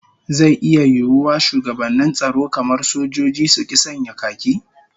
Zai iya yiwuwa shugabannin tsaro kamar sojoji, su ki sanya khaki?